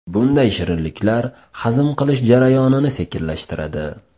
Bunday shirinliklar hazm qilish jarayonini sekinlashtiradi.